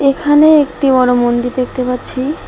এখানে একটি বড় মন্দির দেখতে পাচ্ছি।